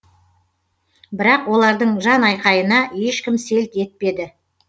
бірақ олардың жанайқайына ешкім селт етпеді